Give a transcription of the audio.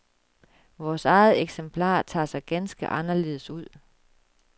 Vores eget eksemplar tager sig ganske anderledes ud.